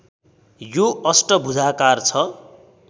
यो अष्टभुजाकार छ